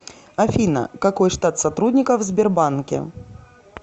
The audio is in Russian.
афина какой штат сотрудников в сбербанке